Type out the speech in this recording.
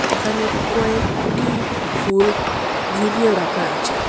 এখানে কয়েকটি ফুল ঝুলিয়েও রাখা আছে।